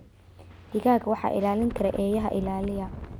Digaagga waxaa ilaalin kara eeyaha ilaaliya.